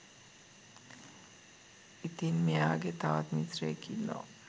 ඉතින් මෙයාගේ තවත් මිත්‍රයෙක් ඉන්නවා